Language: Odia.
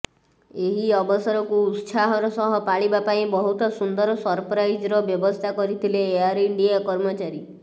ଏହି ଅବସରକୁ ଉତ୍ସାହର ସହ ପାଳିବା ପାଇଁ ବହୁତ ସୁନ୍ଦର ସରପ୍ରାଇଜର ବ୍ୟବସ୍ଥା କରିଥିଲେ ଏୟାର ଇଣ୍ଡିଆ କର୍ମଚାରୀ